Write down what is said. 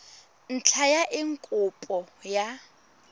ntlha ya eng kopo ya